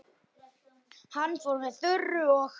Hann fór með Þuru og